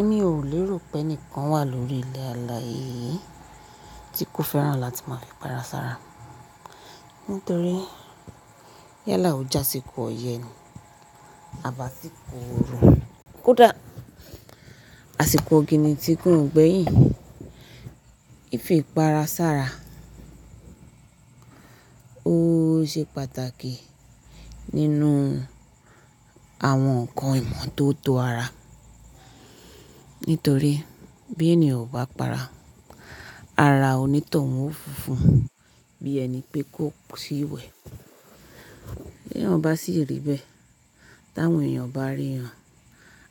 Èmi ò lé rò pẹ́ nìkan wà lórí ilẹ̀ alààyè yí tí kò fẹ́ràn láti máa fì para sára. Nítorí, yálà ó j'ásìkò ọyẹ́ ni à b'ásìkò oru, kódà àsìkò ọ̀gìnìtì gan ò gbẹ́yìn. Ìfi ìpara sára ó ṣe pàtàkì nínú àwọn nǹkan ìmọ́tótó ara. Nítorí bí ènìyàn o bá para, ara onítọ̀hún ó funfun bí ẹni pé kò tíì wẹ̀. Bí ènìyàn bá sì rí bẹ́ẹ̀, tí àwọn èèyàn bá rí ẹ,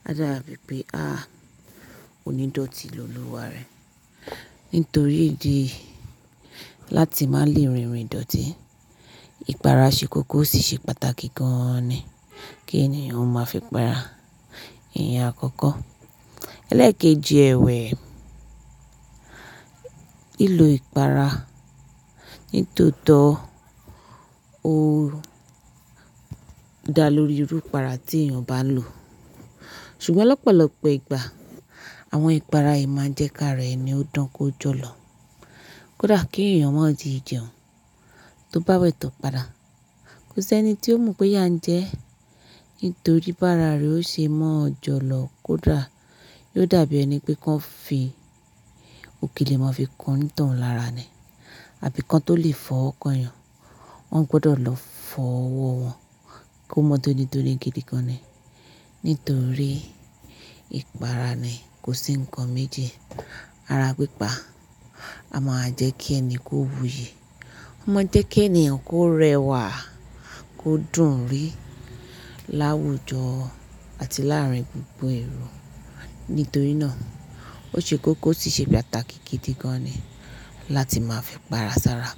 á dàbi pé á à onídọ̀tí lolúwa rẹ̀. Nítorí ìdí èyí láti má lè rìnrìn ìdọ̀tí, ìpara ṣe kókó ósì ṣe pàtàkì gan-an ni kí ènìyàn ó ma fi para, ìyẹn àkọ́kọ́. Ẹlẹ́ẹ̀kejì ẹ̀wẹ̀ lílo ìpara nítòótó ó dá lórí irú ìpara tí èèyàn bá ń lò. Ṣùgbọ́n lọ́pọ̀lọpọ̀ ìgbà àwọn ìpara yìí ma ń jẹ́ k'ára ẹni ó dán kó jọ̀lọ̀. Kódà kí èèyàn má ì tíì jẹun tó bá wẹ̀ tó para, kò sí ẹni tí ó mọ̀ pé yà ń jẹ ẹ́. Nítorí bá raà rẹ ó ṣe mọ́ ọ jọlọ̀ kódà yóó dàbí ẹni pé kán fi òkèlè mọ fi kan onítọ̀hún lára ni. Àbí kán tó lè fọwọ́ kan èèyàn, wọ́n gbọ́dọ̀ lọ fọ ọwọ́ wọn kó mọ́ tó ní tó ní gidi gan ni. Nítorí ìpara ni kò sí nǹkan méjì ara pípa, a máa jẹ́ kí ẹni kó wuyì. Ó mọ ń jẹ́ kí ènìyàn kó rẹwà, kó dùn ún rí láwùjọ àti láàárín gbogbo èrò. Nítorí náà ó ṣe kókó ósì ṣe pàtàkì gidi gan ni láti máa fì para sára.